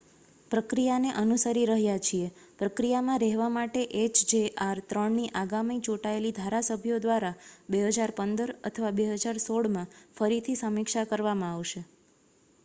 પ્રક્રિયાને અનુસરીરહ્યા છીએ પ્રક્રિયામાં રહેવા માટે એચજેઆર -3 ની આગામી ચૂંટાયેલી ધારાસભ્યો દ્વારા 2015 અથવા 2016 માં ફરીથી સમીક્ષા કરવામાં આવશે